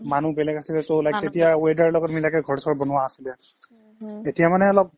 মানুহ বেলেগ আছিলে so like তেতিয়া weather লগত মিলাই ঘৰ চৰ বনোৱা আছিলে এতিয়া মানে অলপ